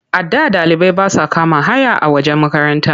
A da ɗalibai ba sa kama haya a wajen makaranta.